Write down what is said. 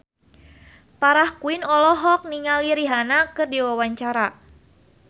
Farah Quinn olohok ningali Rihanna keur diwawancara